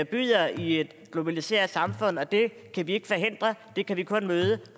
byder i et globaliseret samfund og det kan vi ikke forhindre det kan vi kun møde